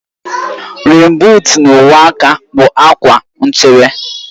Rèèn buut na uwe aka bụ uwe / akwa nchebe